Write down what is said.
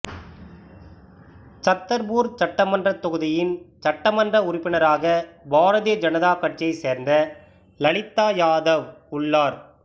சத்தர்பூர் சட்டமன்றத் தொகுதியின் சட்டமன்ற உறுப்பினராக பாரதிய ஜனதா கட்சியைச் சேர்ந்த லலிதா யாதவ் உள்ளார்